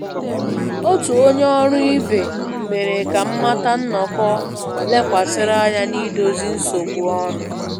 Otu onye ọrụ ibe mere ka m mata nnọkọ lekwasịrị anya na idozi nsogbu ọnụ